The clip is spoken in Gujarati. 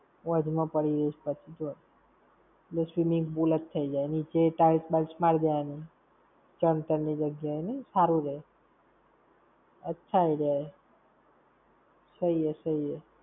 ~ પડી જઈશ પછી તું જો. એટલે swimming pool જ થઇ જાય. નીચે ય tiles બાઇલ્સ મારી દેવાની, સમતળ ની જગ્યા નઈ હારું રેય. अच्छा idea है. सही हे सही है.